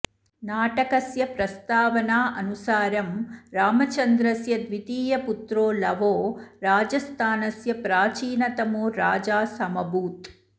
नाटकस्य प्रस्तावनानुसारं रामचन्द्रस्य द्वितीयपुत्रो लवो राजस्थानस्य प्राचीनतमो राजा समभूत्